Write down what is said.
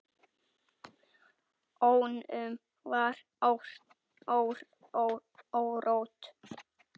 Honum var órótt.